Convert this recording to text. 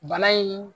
Bana in